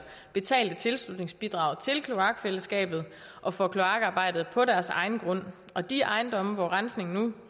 betalt tilslutningsbidrag til kloakfællesskabet og for kloakarbejdet på deres egen grund og de ejendomme hvor rensningen